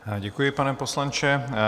Děkuji, pane poslanče.